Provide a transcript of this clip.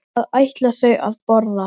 Hvað ætla þau að borða?